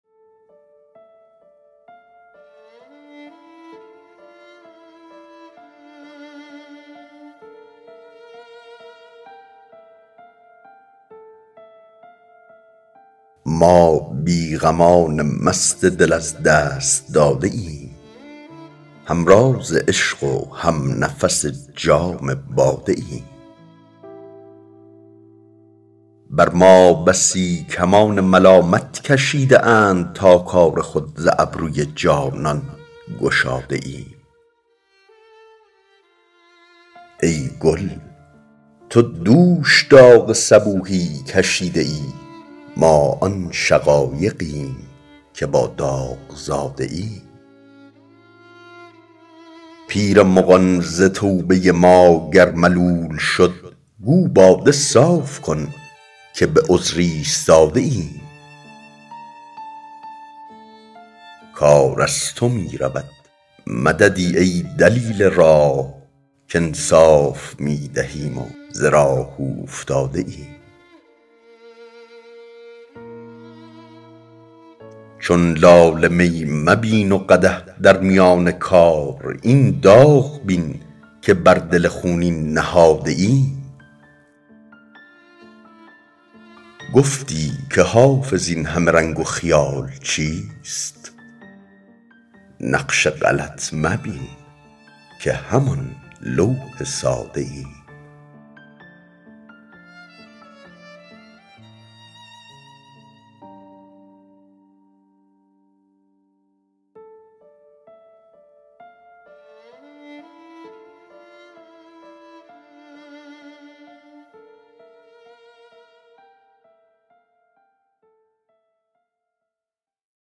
ما بی غمان مست دل از دست داده ایم هم راز عشق و هم نفس جام باده ایم بر ما بسی کمان ملامت کشیده اند تا کار خود ز ابروی جانان گشاده ایم ای گل تو دوش داغ صبوحی کشیده ای ما آن شقایقیم که با داغ زاده ایم پیر مغان ز توبه ما گر ملول شد گو باده صاف کن که به عذر ایستاده ایم کار از تو می رود مددی ای دلیل راه کانصاف می دهیم و ز راه اوفتاده ایم چون لاله می مبین و قدح در میان کار این داغ بین که بر دل خونین نهاده ایم گفتی که حافظ این همه رنگ و خیال چیست نقش غلط مبین که همان لوح ساده ایم